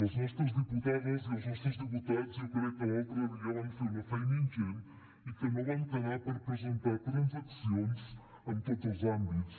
les nostres diputades i els nostres diputats jo crec que l’altre dia van fer una feina ingent i que no van quedar per presentar transaccions en tots els àmbits